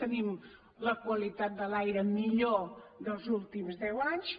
tenim la qualitat de l’aire millor dels últims deu anys